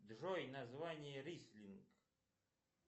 джой название рислинг